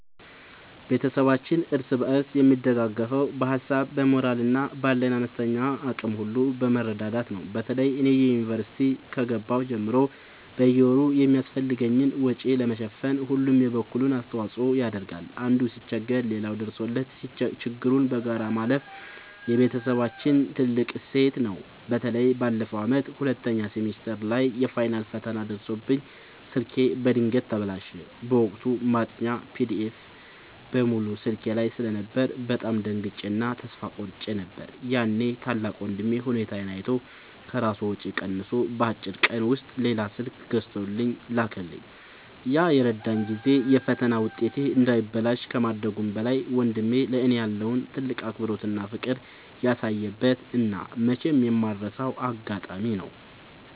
ቤተሰባችን እርስ በርስ የሚደጋገፈው በሀሳብ፣ በሞራል እና ባለን አነስተኛ አቅም ሁሉ በመረዳዳት ነው። በተለይ እኔ ዩኒቨርሲቲ ከገባሁ ጀምሮ በየወሩ የሚያስፈልገኝን ወጪ ለመሸፈን ሁሉም የበኩሉን አስተዋጽኦ ያደርጋል። አንዱ ሲቸገር ሌላው ደርሶለት ችግሩን በጋራ ማለፍ የቤተሰባችን ትልቅ እሴት ነው። በተለይ ባለፈው ዓመት ሁለተኛ ሴሚስተር ላይ የፋይናል ፈተና ደርሶብኝ ስልኬ በድንገት ተበላሸ። በወቅቱ ማጥኛ ፒዲኤፎች (PDFs) በሙሉ ስልኬ ላይ ስለነበሩ በጣም ደንግጬ እና ተስፋ ቆርጬ ነበር። ያኔ ታላቅ ወንድሜ ሁኔታዬን አይቶ ከራሱ ወጪ ቀንሶ በአጭር ቀን ውስጥ ሌላ ስልክ ገዝቶ ላከልኝ። ያ የረዳኝ ጊዜ የፈተና ውጤቴ እንዳይበላሽ ከማድረጉም በላይ፣ ወንድሜ ለእኔ ያለውን ትልቅ አክብሮትና ፍቅር ያሳየበት እና መቼም የማልረሳው አጋጣሚ ነው።